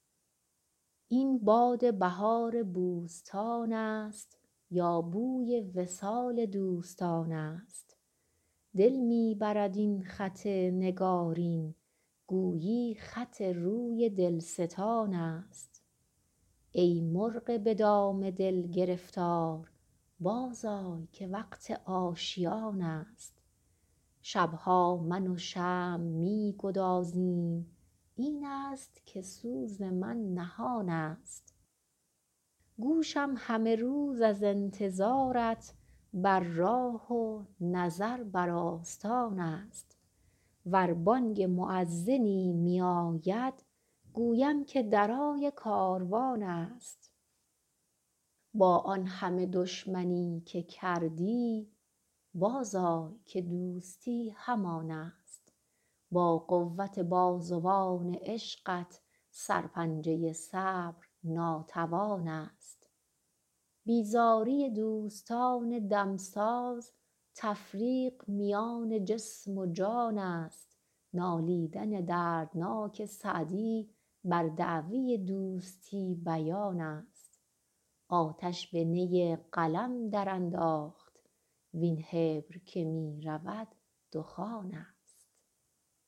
این باد بهار بوستان است یا بوی وصال دوستان است دل می برد این خط نگارین گویی خط روی دلستان است ای مرغ به دام دل گرفتار بازآی که وقت آشیان است شب ها من و شمع می گدازیم این است که سوز من نهان است گوشم همه روز از انتظارت بر راه و نظر بر آستان است ور بانگ مؤذنی میاید گویم که درای کاروان است با آن همه دشمنی که کردی بازآی که دوستی همان است با قوت بازوان عشقت سرپنجه صبر ناتوان است بیزاری دوستان دمساز تفریق میان جسم و جان است نالیدن دردناک سعدی بر دعوی دوستی بیان است آتش به نی قلم درانداخت وین حبر که می رود دخان است